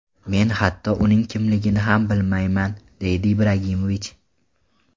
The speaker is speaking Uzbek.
Men hatto uning kimligini ham bilmayman”, deydi Ibragimovich.